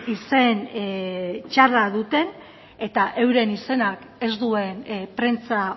izen txarra duten eta euren izenak ez duen prentsa